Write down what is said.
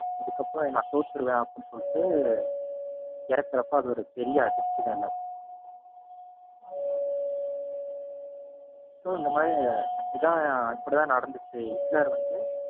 இதுக்கப்பறம் நான் தோத்துருவேன் அப்படின்னு சொல்லிட்டு இறக்குறப்ப அது ஒரு பெரிய அதிர்ச்சி தான் எல்லாத்துக்கும். so இந்த மாதிரி இதான் இப்படித்தான் நடந்துச்சு ஹிட்லர் வந்து.